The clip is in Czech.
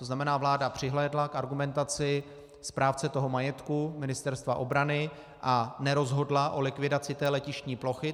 To znamená, vláda přihlédla k argumentaci správce toho majetku Ministerstva obrany a nerozhodla o likvidaci té letištní plochy.